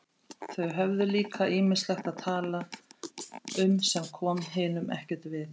Þau höfðu líka ýmislegt að tala um sem kom hinum ekkert við.